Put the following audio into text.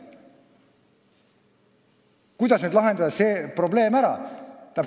Kuidas see probleem nüüd ära lahendada?